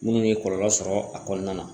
Minnu ye kɔlɔlɔ sɔrɔ a kɔnɔna na